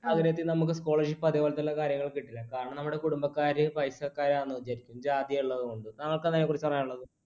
ആഗ്രഹത്തിൽ നമുക്ക് scholarship അതുപോലെയുള്ള കാര്യങ്ങൾ കിട്ടില്ല. കാരണം നമ്മുടെ കുടുംബക്കാര് പൈസക്കാരാണ് . താങ്കൾക്ക് അതിനെക്കുറിച്ച് പറയാനുള്ളത്?